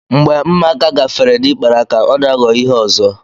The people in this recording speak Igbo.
Mgbe mmaaka gafere n'ikpere aka, ọ na-aghọ ihe ọzọ.